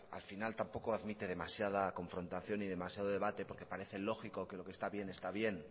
al final tampoco admite demasiada confrontación y demasiado debate porque parece lógico que lo que está bien está bien